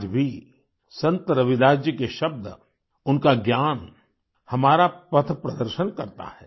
आज भी संत रविदास जी के शब्द उनका ज्ञान हमारा पथप्रदर्शन करता है